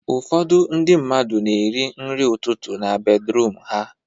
Ụfọdụ ndị mmadụ na-eri nri ụtụtụ na bedruum ha